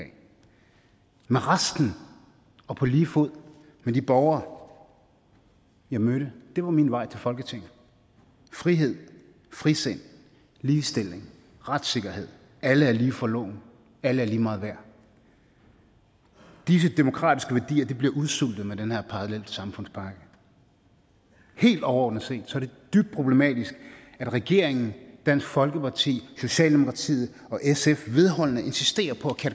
med resten og på lige fod med de borgere jeg mødte det var min vej til folketinget frihed frisind ligestilling retssikkerhed at alle er lige for loven at alle er lige meget værd disse demokratiske værdier bliver udsultet med den her parallelsamfundspakke helt overordnet set er det dybt problematisk at regeringen dansk folkeparti socialdemokratiet og sf vedholdende insisterer på